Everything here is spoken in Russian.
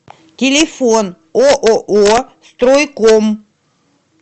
телефон ооо стройком